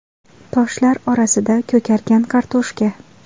Toshlar orasida ko‘kargan kartoshka.